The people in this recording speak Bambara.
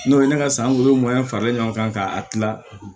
N'o ye ne ka sankolo faralen ɲɔgɔn kan ka a kila